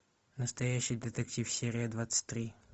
настоящий детектив серия двадцать три